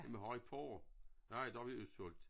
Jamen har i porrer? Nej det har vi udsolgt